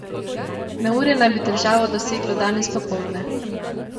Neurje naj bi državo doseglo danes popoldne.